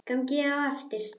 Ganga á eftir.